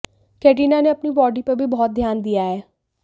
कैटरीना ने अपनी बॉडी पर भी बहुत ध्यान दिया है